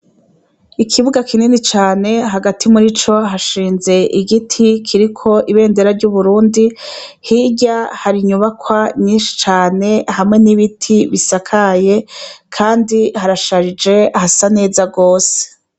Ikibuga kinini cane hagati murico hashinze igiti kiriko ibendera ry'uburundi hirya hari inyubakwa nyinshi cane hamwe n'ibiti bisakaye kandi harasharije hasa neza gose.